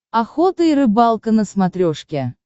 охота и рыбалка на смотрешке